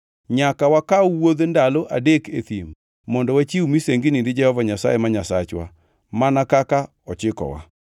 Nyaka wakaw wuodh ndalo adek e thim mondo wachiw misengini ni Jehova Nyasaye ma Nyasachwa mana kaka ochikowa.”